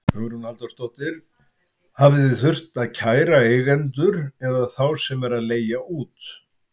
Hugrún Halldórsdóttir: Hafið þið þurft að kæra eigendur eða þá sem eru að leigja út?